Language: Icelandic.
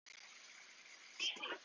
Mikið stóð til.